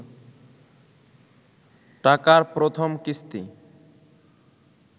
টাকার প্রথম কিস্তি